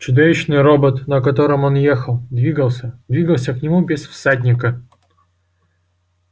чудовищный робот на котором он ехал двигался двигался к нему без всадника